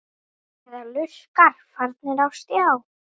Eða lurkar farnir á stjá?